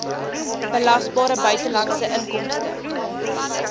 belasbare buitelandse inkomste